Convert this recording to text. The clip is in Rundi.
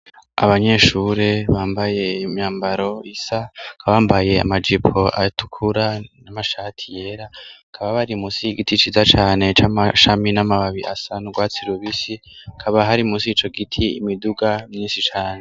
Abanyeshure bambaye imyambaro isa kabambaye amajipo atukura n'amashati yera kaba bari musi y'igiti iciza cane c'amashami n'amababi asana urwatsi lubisi kaba hari mu sico gitie imiduga misi cane.